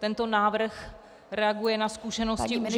Tento návrh reaguje na zkušenosti uživatelů -